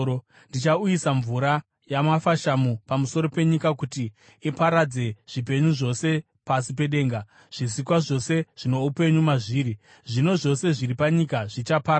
Ndichauyisa mvura yamafashamu pamusoro penyika kuti iparadze zvipenyu zvose pasi pedenga, zvisikwa zvose zvino upenyu mazviri. Zvinhu zvose zviri panyika zvichaparara.